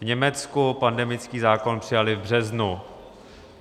V Německu pandemický zákon přijali v březnu.